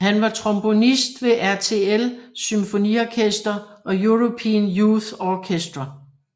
Han var trombonist ved RTL Symfoniorkester og European Youth Orchestra